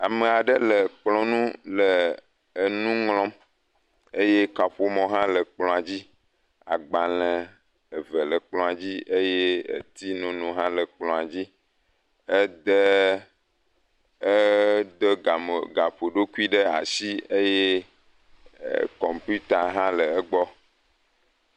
Ame aɖe le kplɔ nu le enu ŋlɔm eye kaƒomɔ hã le kplɔa dzi. Agbale eve le kplɔa dzi eye tsinono hã le kplɔa dzi ede gamɔ gaƒoɖokui ɖe asi eye kɔmpita hã le egbɔ.